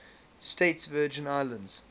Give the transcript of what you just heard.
states virgin islands